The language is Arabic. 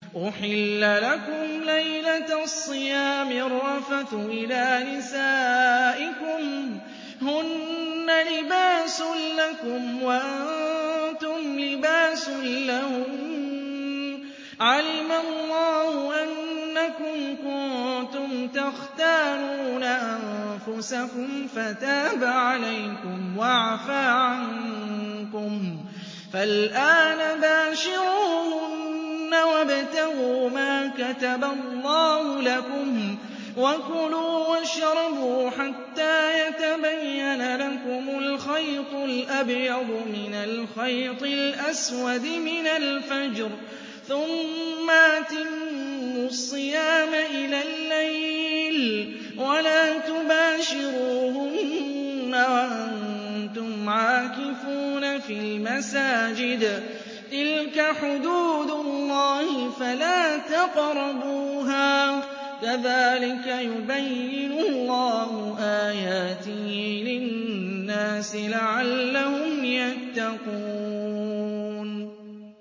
أُحِلَّ لَكُمْ لَيْلَةَ الصِّيَامِ الرَّفَثُ إِلَىٰ نِسَائِكُمْ ۚ هُنَّ لِبَاسٌ لَّكُمْ وَأَنتُمْ لِبَاسٌ لَّهُنَّ ۗ عَلِمَ اللَّهُ أَنَّكُمْ كُنتُمْ تَخْتَانُونَ أَنفُسَكُمْ فَتَابَ عَلَيْكُمْ وَعَفَا عَنكُمْ ۖ فَالْآنَ بَاشِرُوهُنَّ وَابْتَغُوا مَا كَتَبَ اللَّهُ لَكُمْ ۚ وَكُلُوا وَاشْرَبُوا حَتَّىٰ يَتَبَيَّنَ لَكُمُ الْخَيْطُ الْأَبْيَضُ مِنَ الْخَيْطِ الْأَسْوَدِ مِنَ الْفَجْرِ ۖ ثُمَّ أَتِمُّوا الصِّيَامَ إِلَى اللَّيْلِ ۚ وَلَا تُبَاشِرُوهُنَّ وَأَنتُمْ عَاكِفُونَ فِي الْمَسَاجِدِ ۗ تِلْكَ حُدُودُ اللَّهِ فَلَا تَقْرَبُوهَا ۗ كَذَٰلِكَ يُبَيِّنُ اللَّهُ آيَاتِهِ لِلنَّاسِ لَعَلَّهُمْ يَتَّقُونَ